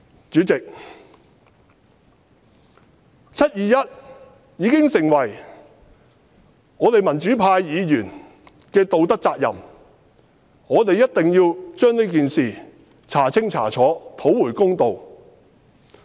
主席，"七二一"已經成為我們民主派議員的道德責任，我們一定要將這件事調查清楚，討回公道。